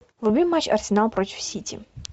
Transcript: вруби матч арсенал против сити